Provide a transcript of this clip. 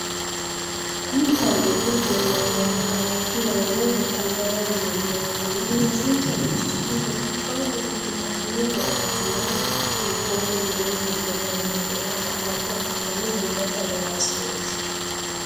kuni cameli hogowinori makalakiyaho woy wotadaraho yinanire ikana loosinisa. qechino gobba ilitano gawajuwa gibote widonni hige danohura galabo abitano gobate agarasineti.